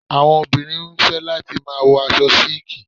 Àwọn obìnrin nífẹ̀ẹ́ láti máa wo aṣọ síliki